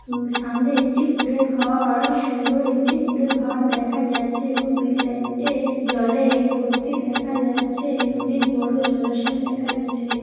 উম সামনে একটি কুঁড়ে ঘ-আর সুন্দর একটি কুঁড়ে ঘর দেখা যাচ্ছে এবং দুই সাইডে জলে-এ ভর্তি দেখা যাচ্ছে-এ। অনেক বড় জলাশয় দেখা গেছে।